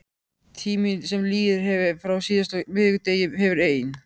Tíminn sem liðið hefur frá síðasta miðvikudegi hefur ein